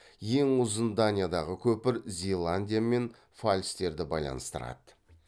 ең ұзын даниядағы көпір зеландия мен фальстерді байланыстырады